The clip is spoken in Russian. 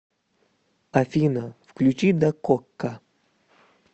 афина включи дакока